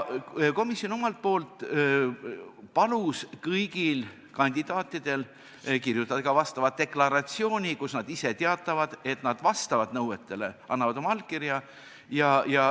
Komisjon omalt poolt palus kõigil kandidaatidel kirjutada vastava deklaratsiooni, kus nad ise teatavad, et nad vastavad nõuetele, ja annavad oma allkirja.